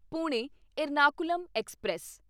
Pune Ernakulam express